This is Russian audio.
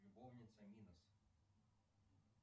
любовница минос